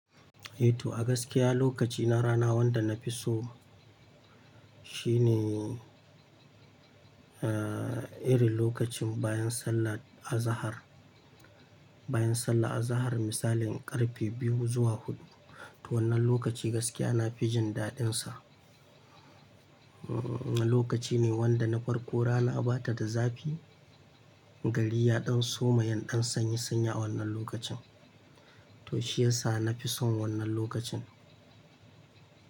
Eh to a gaskiya lokaci na rana wanda na fi so shine, eh, irin lokacin bayan sallar Azahar, bayan sallar Azahar misalin karfe biyu zuwa hudu. To wannan lokaci gaskiya na fi jin daɗinsa. Lokaci ne wanda na farko rana ba ta da zafi, gari ya ɗan soma yan ɗan sanyi sanya wannan lokacin. To shiyasa na fi son wannan lokacin.